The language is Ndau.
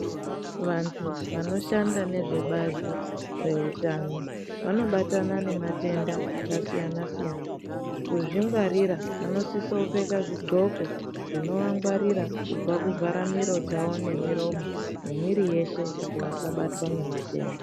Vantu vanoshanda nezvebazi reutano vanobatana nematenda akasiyana siyana kuzvingwarira vanisisa kupfeke zvidxoko zvinovangwarira kubva kuvhara miro dzavo nemiromo nemwiri yeshe kuti vasabatwa ngematenda.